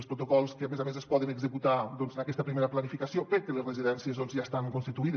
els protocols que a més a més es poden executar en aquesta primera planificació perquè les residències ja estan constituïdes